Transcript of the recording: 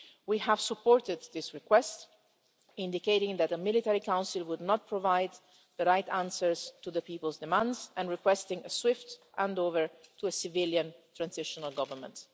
We have supported this request, indicating that a military council would not provide the right answers to the people's demands and requesting a swift handover to a civilian transitional government.